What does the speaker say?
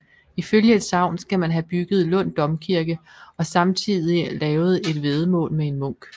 Ifølge et sagn skal han have bygget Lund Domkirke og samtidig lavet et væddemål med en munk